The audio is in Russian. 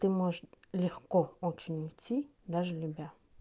ты может легко очень идти даже любя